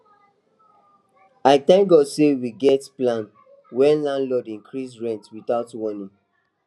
i thank god say we get plan when landlord increase rent without warning